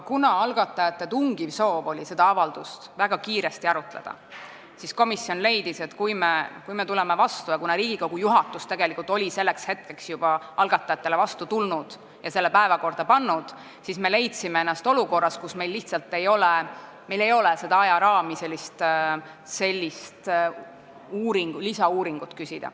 Kuna algatajate tungiv soov oli seda avaldust väga kiiresti arutada ja Riigikogu juhatus oli tegelikult selleks hetkeks juba algatajatele vastu tulnud ja selle päevakorda pannud, leidis komisjon ennast olukorrast, kus meil lihtsalt ei olnud ajaraami sellise lisauuringu küsimiseks.